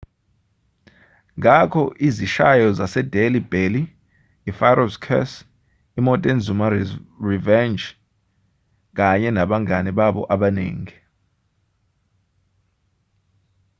ngakho izishayo zasedelhi belly i-pharaoh's curse imontezuma's revenge kanye nabangane babo abaningi